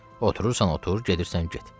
Oturursan otur, gedirsən get.